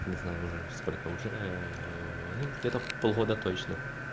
не знаю уже сколько уже ну где-то полгода точно